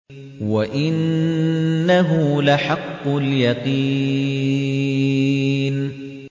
وَإِنَّهُ لَحَقُّ الْيَقِينِ